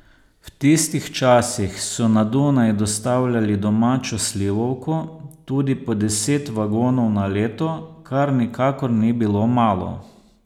V tistih časih so na Dunaj dostavljali domačo slivovko, tudi po deset vagonov na leto, kar nikakor ni bilo malo.